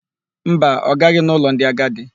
Mba, ọ gaghị n'ụlọ ndị agadi.